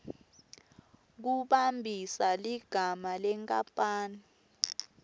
kumbambisa ligama lenkapani